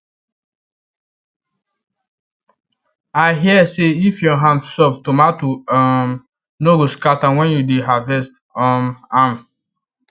i hear say if your hand soft tomato um no go scatter when you dey harvest um am